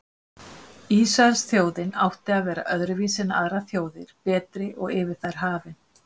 Ísraelsþjóðin átti að vera öðruvísi en aðrar þjóðir, betri og yfir þær hafin.